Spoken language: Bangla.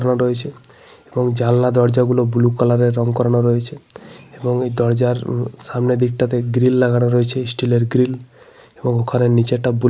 এবং জানলা দরজাগুলো ব্লু কালারের রং করানো রয়েছে। এবং এই দরজার সামনের দিকটাতে গ্রিল লাগানো রয়েছে স্টিলের গ্রিল । এবং ওখানে একটা ব্লু কালার রং করা রয়েছে।